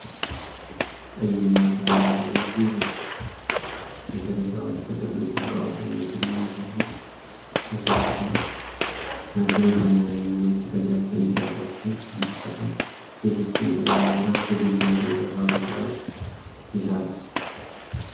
ቀይ እና ሰማያዊ ግዙፍ የጥሬ ዕቃዎች ጥቅልሎች በአውቶሜትድ ማሽን ውስጥ ተሰክተዋል። ማሽኑ ሰማያዊ እና ነጭ ቀጫጭን ጨርቆችን በመጠቀም የፊት ጭንብል ለመሥራት ዝግጁ ሆኖ በፋብሪካ ውስጥ ይሰራል።